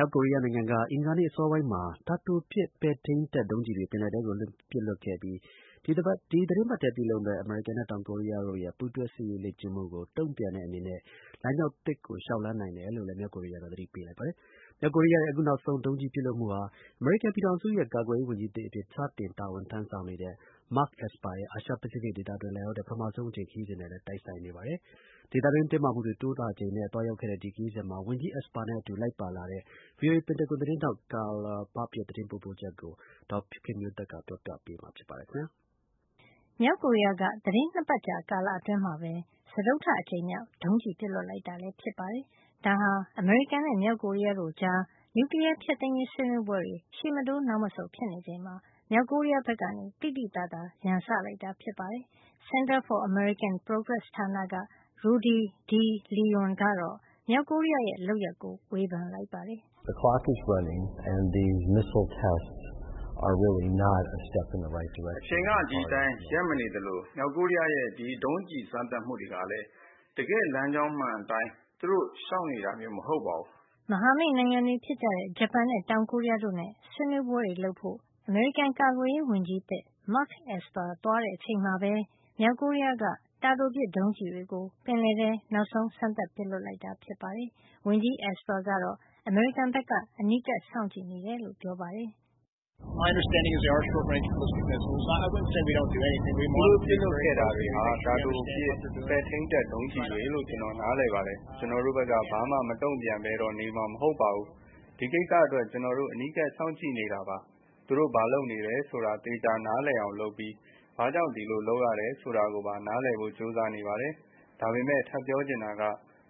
ောက်ကိုရီးယားက အင်္ဂါနေ့ အစောပိုင်းမှာ တာတိုပစ် ပဲ့ထိန်းတပ်ဒုံးကျည်တွေ ပင်လယ်ထဲကို ပစ်လွှတ်ခဲ့ပြီး ဒီသီတင်းပတ်ထဲ ပြုလုပ်မယ့် အမေရိကန်နဲ့ တောင်ကိုရီးယားတို့ရဲ့ ပူးတွဲ စစ်ရေးလေ့ကျင့်မှုကို တုံ့ပြန်တဲ့ အနေနဲ့ လမ်းကြောင်းသစ်ကို လျှောက်လှမ်း နိုင်တယ်လို့လည်း သတိပေးလိုက်တာ ဖြစ်ပါတယ်။ မြောက်ကိုရီးယားရဲ့ အခု နောက်ဆုံး ဒုံးကျည် ပစ်လွှတ်မှုဟာ အမေရိကန်ပြည်ထောင်စုရဲ့ ကာကွယ်ရေးဝန်ကြီးသစ်အဖြစ် စတင် တာဝန်ထမ်းဆောင်တဲ့ Mark Esper ရဲ့ အာရှ-ပစိဖိတ် ဒေသတွင်း လာရောက်တဲ့ ပထမဆုံး အကြိမ်ခရီးစဉ်နဲ့လည်း တိုက်ဆိုင်နေတာ ဖြစ်ပါတယ်။ ဒေသတွင်း တင်းမာမှုတွေ တိုးလာနေချိန်မှာ သွားရောက်ခဲ့တဲ့ ဒီခရီးစဉ်မှာ ဝန်ကြီး Esper နဲ့အတူ လိုက်ပါလာတဲ့ VOA ပင်တာဂွန်သတင်းထောက် Carla Babb ရဲ့သတင်းပေးပို့ချက်ကို ဒေါ်ခင်မျိုးသက်က ပြောပြပေးမှာပါ။ မြောက်ကိုရီးယားက သီတင်း ၂ ပတ်ကြာ ကာလအတွင်း စတုတ္ထအကြိမ်မြောက် ဒုံးကျည် ပစ်လွှတ်လိုက်တာ ဖြစ်ပါတယ်။ ဒါဟာ အမေရိကန်နဲ့မြောက်ကိုရီးယားတို့ကြား နျူကလီးယား ဖျက်သိမ်းရေး ဆွေးနွေးပွဲတွေ ရှေ့မတိုးနောက်မဆုတ် ဖြစ်နေချိန်မှာ မြောက်ကိုရီးယား ဘက်က သိသိသာသာ ရန်စလိုက်တာ ဖြစ်ပါတယ်။ Center for American Progress ဌာနက Rudy deLeon ကတော့ မြောက်ကိုရီးယားရဲ့ လုပ်ရပ်ကို ဝေဖန်လိုက်ပါတယ်။ “အချိန်က ဒီအတိုင်း ရပ်မနေသလို မြောက်ကိုရီးယားရဲ့ ဒီဒုံးကျည်စမ်းသပ်မှုတွေကလည်း တကယ့်လမ်းကြောင်းမှန်အတိုင်း သူတို့လျှောက်နေတာမျိုး မဟုတ်ပါဘူး။” မဟာမိတ်နိုင်ငံတွေဖြစ်တဲ့ ဂျပန်နဲ့ တောင်ကိုရီးယားတို့နဲ့ ဆွေးနွေးပွဲတွေ လုပ်ဖို့ အမေရိကန်ကာကွယ်ရေးဝန်ကြီး အသစ် Mark Esper သွားတဲ့အချိန်မှာပဲ မြောက်ကိုရီးယားက တာတိုပစ်ဒုံးကျည်တွေကို ပင်လယ်ထဲ နောက်ဆုံးစမ်းသပ်ပစ်လွှတ်ခဲ့တာ ဖြစ်ပါတယ်။ ဝန်ကြီး Esper ကတော့ အမေရိကန်က အနီးကပ်စောင့်ကြည့်နေတယ်လို့ ပြောပါတယ်။ "သူတို့ပစ်လွှတ်ခဲ့တာဟာ တာတိုပစ် ပဲ့ထိန်းတပ် ဒုံးကျည်တွေလို့ ကျနော်နားလည်ပါတယ်။ ကျနော်တို့ဘက်က ဘာမှ မတုံ့ပြန်ပဲတော့ နေမှာ မဟုတ်ပါဘူး။ ဒီကိစ္စ အတွက် ကျနော်တို့ အနီးကပ်စောင့်ကြည့်နေတာပါ။ သူတို့ ဘာလုပ်နေတယ်ဆိုတာ နားလည်အောင် သေချာလုပ်ပြီး ဘာကြောင့် ဒီလိုလုပ်ရတယ် ဆိုတာကိုပါ နားလည်ဖို့ ကြိုးစားနေပါတယ်။ ဒါပေမယ့် ထပ်ပြောချင်တာက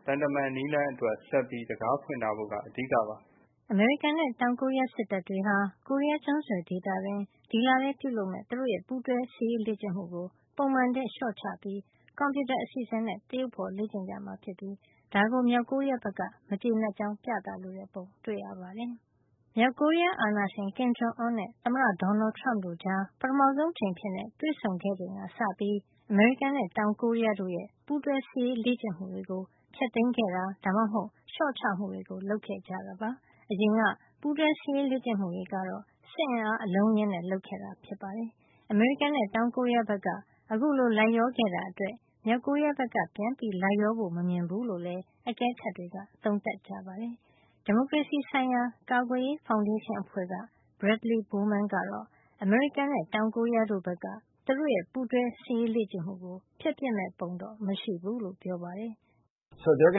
သံတမန် နည်းလမ်းအတွက် ဆက်ပြီး တံခါးဖွင့်ထားဖို့က အဓိကပါ။” အမေရိကန်နဲ့ တောင်ကိုရီးယားစစ်တပ်တွေဟာ ကိုရီးယားကျွန်းဆွယ်ဒေသတွင်း ဒီလထဲ ပြုလုပ်မယ့် သူတို့ရဲ့ ပူးတွဲ စစ်ရေးလေ့ကျင့်မှုကို ပုံမှန်ထက် လျှော့ချပြီး ကွန်ပြူတာ အစီအစဉ်နဲ့သရုပ်ဖေါ် လေ့ကျင့်ကြမှာ ဖြစ်ပြီး ဒါကို မြောက်ကိုရီးယားဘက်က မကျေနပ်ကြောင်း ပြသလိုတဲ့ ပုံတွေ့ရပါတယ်။ မြောက်ကိုရီးယား အာဏာရှင် Kin Jong Un နဲ့ သမ္မတ Donald Trump တို့ကြား ပထမဦးဆုံး အကြိမ်အဖြစ် တွေ့ဆုံခဲ့ချိန်ကစပြီး အမေရိကန်နဲ့ တောင်ကိုရီးယားတို့ရဲ့ ပူးတွဲစစ်ရေး လေ့ကျင့်မှုတွေကို ဖျက်သိမ်းခဲ့တာ ဒါမှမဟုတ် လျှော့ချမှုတွေ လုပ်ခဲ့ကြတာပါ။ အရင်က ပူးတွဲစစ်ရေး လေ့ကျင့်မှုတွေ ကတော့ စစ်အင်အား အလုံးအရင်းနဲ့ လုပ်ခဲ့တာ ဖြစ်ပါတယ်။ အမေရိကန်နဲ့ တောင်ကိုရီးယားဘက်က အခုလို လိုက်လျောခဲ့တာအတွက် မြောက်ကိုရီးယားဘက်က ပြန်လိုက်ရောဖို့ မမြင်ဘူးလို့လည်း အကဲခတ်တွေက သုံးသပ်ကြပါတယ်။ ဒီမိုကရေစီဆိုင်ရာ ကာကွယ်ရေး ဖေါင်ဒေးရှင်းအဖွဲ့က Bradley Bowman ကတော့ အမေရိကန်နဲ့ တောင်ကိုရီးယား တို့ဘက်က သူတို့ရဲ့ပူးတွဲ စစ်ရေးလေ့ကျင့်မှုကို ဖျက်ပစ်မယ့်ပုံတော့မရှိဘူးလို့ ပြောပါတယ်။ " အဲဒီတော့ သူ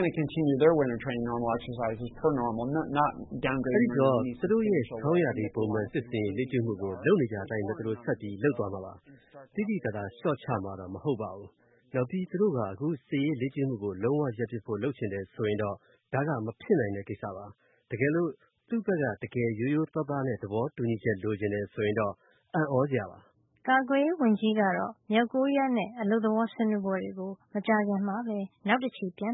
တို့ရဲ့ ဆောင်းရာသီ ပုံမှန်စစ်ရေးလေ့ကျင့်မှုကို လုပ်နေကျအတိုင်းပဲ သူတို့ဆက်ပြီး လုပ်သွားမှာပါ။ သိသိသာသာ လျှော့ချမှာတော့ မဟုတ်ပါဘူး။ နောက်ပြီး သူတို့က အခု စစ်ရေး လေ့ကျင့်မှုကို လုံးဝရပ်ပစ်ဖို့ လုပ်ချင်တယ်ဆိုရင်တော့ ဒါက မဖြစ်နိုင်တဲ့ ကိစ္စပါ။ တကယ်လို့ သူ့ဘက်က တကယ်ရိုးရိုးသာားသားနဲ့ သဘောတူညီချက် လိုချင်တယ်ဆိုရင်တော့ အံ့သြစရာပါ။” ကာကွယ်ရေးဝန်ကြီးကတော့ မြောက်ကိုရီးယားနဲ့ အလုပ်သဘောဆွေးနွေးပွဲတွေကို မကြာခင်မှာပဲ နောက်တချီပြန်